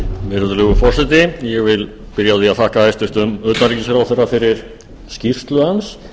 virðulegur forseti ég vil byrja á að þakka hæstvirtum utanríkisráðherra fyrir skýrslu hans